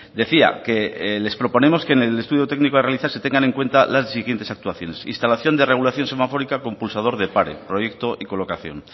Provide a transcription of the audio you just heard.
decía que les proponemos que en el estudio técnico a realizar se tengan en cuenta las siguientes actuaciones instalación de regulación semafórica con pulsador de paro proyecto y colocación